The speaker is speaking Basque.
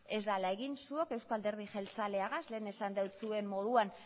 ez dela egin zuok euzko alderdi jeltzaleagaz lehen esan doutsuen moduan